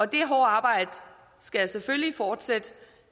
det hårde arbejde skal selvfølgelig fortsætte